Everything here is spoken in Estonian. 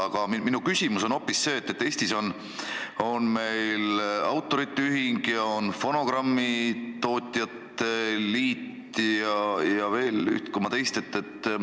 Aga minu küsimus on hoopis selle kohta, et Eestis on meil autorite ühing ja fonogrammitootjate liit ja veel üht koma teist.